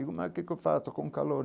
Digo, mas o que que eu faço com calor?